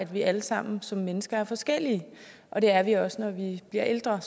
vi alle sammen som mennesker er forskellige og det er vi også når vi bliver ældre